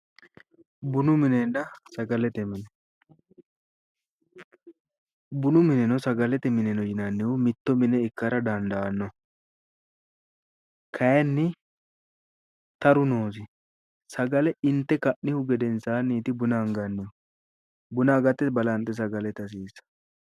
Bunu minenna sagalete mine, bunu minenna sagalete mine yinannihu mitto mine ikkara dandaanno, kayiinni taru noosi sagale inte ka'nihu gedensaanniti buna angannihu, buna agate sagale ita hasiissanno.